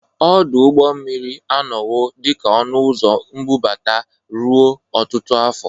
Ọdụ ụgbọ mmiri anọwo dị ka ọnụ ụzọ mbubata ruo ọtụtụ afọ.